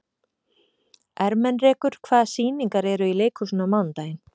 Ermenrekur, hvaða sýningar eru í leikhúsinu á mánudaginn?